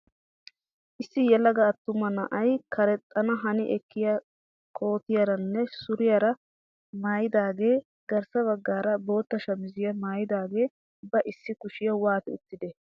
Issi yelaga attuma na'ay karexxana hani ekkiyaa kootiyaaranne suriyaara maayidaagee garssa baggaara boota shamisiyaa maayidagee ba issi kushiyaa waati uttidee?